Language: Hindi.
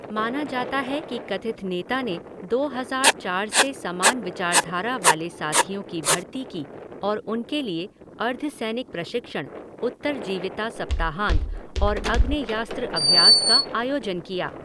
माना जाता है कि कथित नेता ने दो हज़ार चार से समान विचारधारा वाले साथियों की भर्ती की और उनके लिए अर्धसैनिक प्रशिक्षण, उत्तरजीविता सप्ताहांत और आग्नेयास्त्र अभ्यास का आयोजन किया।